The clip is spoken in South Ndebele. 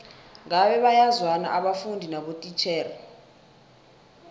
ngabe bayazwana abafundi nabotitjhere